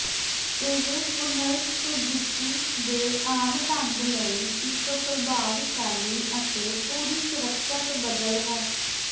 ਇਹ ਪੁਨਰ ਸੁਰਜੀਤੀ ਦੇ ਆਮ ਢੰਗ ਲਈ ਇੱਕ ਪ੍ਰਭਾਵਸ਼ਾਲੀ ਅਤੇ ਪੂਰੀ ਸੁਰੱਖਿਅਤ ਬਦਲ ਹੈ